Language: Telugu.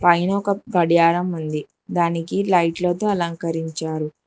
పైనా ఒక గడియారం ఉంది దానికి లైట్లతో అలంకరించారు.